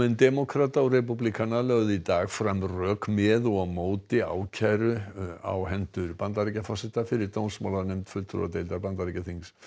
demókrata og repúblikana lögðu í dag fram rök með og á móti ákæru á hendur Bandaríkjaforseta fyrir fulltrúadeildar Bandaríkjaþings